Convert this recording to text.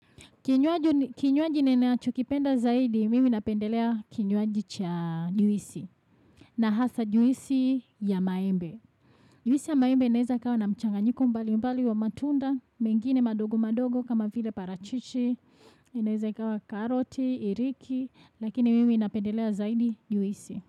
Kinywaji ninachokipenda zaidi, mimi napendelea kinywaji cha juisi na hasa juisi ya maembe. Juisi ya maembe inaweza ikawa na mchanganyiko mbalimbali wa matunda, mengine madogo madogo kama vile parachichi, inaweza ikawa karoti, iriki, lakini mimi napendelea zaidi juisi.